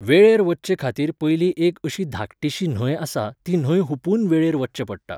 वेळेर वचचे खातीर पयली एक अशी धाकटीशी न्हंय आसा ती न्हंय हुपून वेळेर वचचें पडटा